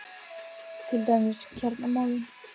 Til dæmis kjaramálin?